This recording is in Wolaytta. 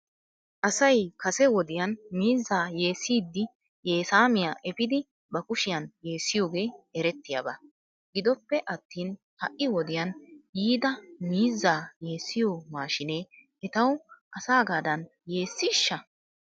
Asay kase wodiyan miizzaa yeessiiddi yeesaamiyaa efidi ba kushiyan yeessiyoogee erettiyaaba. Gidoppe attin ha'i wodiyan yiida miizzaa yeessiyoo maashiinee etaw asaagaadan yeessiishsha?